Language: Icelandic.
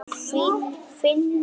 Finna nýjar.